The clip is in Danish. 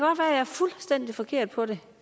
er fuldstændig forkert på den